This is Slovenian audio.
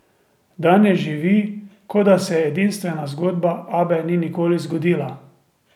Danes živi, kot da se edinstvena zgodba Abbe ni nikoli zgodila.